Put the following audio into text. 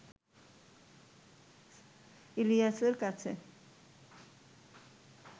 ইলিয়াসের কাছে